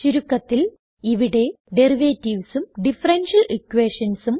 ചുരുക്കത്തിൽ ഇവിടെ ഡെറിവേറ്റീവ്സ് ഉം ഡിഫറൻഷ്യൽ equationsഉം